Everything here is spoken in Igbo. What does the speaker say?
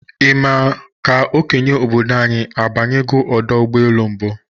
Ị ma ka okenye obodo anyi abanyego ọdọ ụgbọelu mbụ?